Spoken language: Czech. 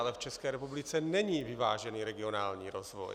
Ale v České republice není vyvážený regionální rozvoj.